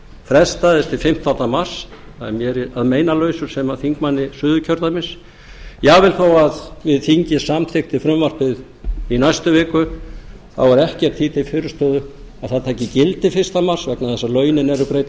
frestaðist til fimmtánda mars það er mér að meinalausu sem þingmanni suðurkjördæmis jafnvel þó að þingið samþykkti frumvarpið í næstu viku þá er ekkert því til fyrirstöðu að það taki gildi fyrsta mars vegna þess að lögunum er breytt eftir